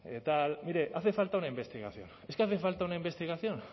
tal mire hace falta una investigación es que hace falta una investigación